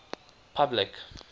public